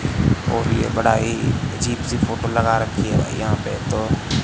और ये बड़ा ही अजीब सी फोटों लगा रखी यहां पे तो--